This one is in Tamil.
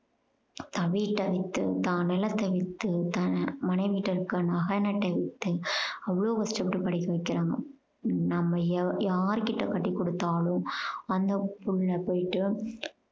தவி தவித்து தான் நிலத்த வித்து தன்னோட மனைவி இருக்க நகை நட்டை வித்து அவ்வளோ கஷ்டப்பட்டு படிக்க வைக்குறாங்க. நம்ம யா~ யார் கிட்ட கட்டி கொடுத்தாலும் அந்த புள்ள போயிட்டு